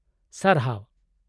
- ᱥᱟᱨᱦᱟᱣ ᱾